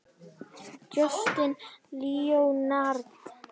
Justin Leonard